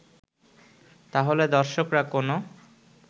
তাহলে দর্শকরা কোনো